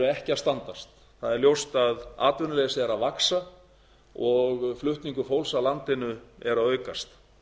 ekki að standast það er ljóst að atvinnuleysi er að vaxa og flutningur fólks af landinu er að aukast